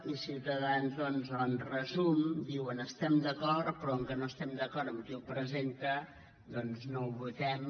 i ciutadans doncs en resum diuen hi estem d’acord però com que no estem d’acord amb qui ho presenta doncs no ho votem